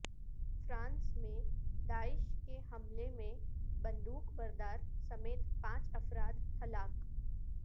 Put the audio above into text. France میں داعش کے حملے میں بندوق بردار سمیت پانچ افراد ہلاک